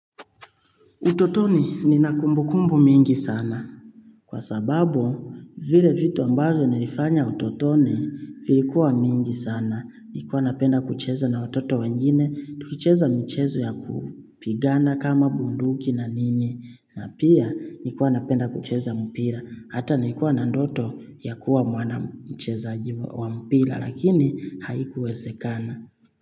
Utotoni nina kumbu kumbu mingi sana. Kwa sababu, vile vitu ambazo nilifanya utotoni, vilikuwa mingi sana. Nilikuwa napenda kucheza na watoto wengine, tulicheza michezo ya kupigana kama bunduki na nini. Na pia, nilikuwa napenda kucheza mpira. Hata nilikuwa na ndoto ya kuwa mwana mcheza wa mpira, lakini haikuwezekana.